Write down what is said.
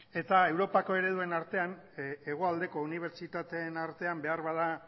eta europako ereduen artean hegoaldeko unibertsitateen artean beharbada